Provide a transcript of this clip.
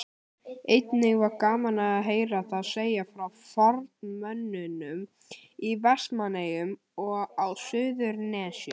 Einnig var gaman að heyra þá segja frá formönnunum í Vestmannaeyjum og á Suðurnesjum.